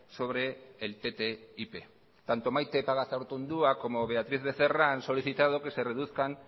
sobre el ttip tanto maite pagazaurtundua como beatriz becerra han solicitado